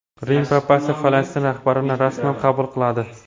Rim papasi Falastin rahbarini rasman qabul qiladi.